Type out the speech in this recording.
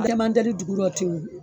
Ale man teli dugu rɔ ten